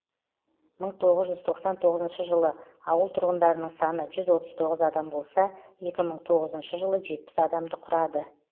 мың тоғыз жүз тоқсан тоғызыншы жылы ауыл тұрғындарының саны жүз отыз тоғыз адам болса екі мың тоғызыншы жылы жетпіс адамды құрады